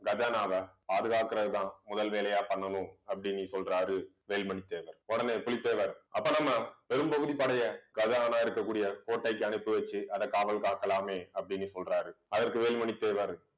கஜானாவை, பாதுகாக்கிறது தான் முதல் வேலையா பண்ணணும் அப்படின்னு சொல்றாரு வேல்மணி தேவர் உடனே புலித்தேவர் அப்ப நம்ம பெரும்பகுதி படையை கஜானா இருக்கக்கூடிய கோட்டைக்கு அனுப்பி வச்சு அதை காவல் காக்கலாமே அப்படின்னு சொல்றாரு அதற்கு வேலுமணி தேவர்